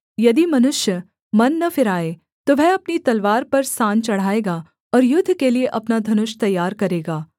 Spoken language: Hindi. यदि मनुष्य मन न फिराए तो वह अपनी तलवार पर सान चढ़ाएगा और युद्ध के लिए अपना धनुष तैयार करेगा